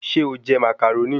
Ṣé o jẹ Màcàrónì?